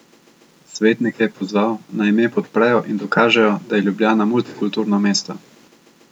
Svetnike je pozval, naj ime podprejo in dokažejo, da je Ljubljana multikulturno mesto.